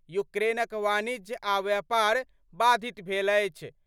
यूक्रेनक वाणिज्य आ व्यापार बाधित भेल अछि।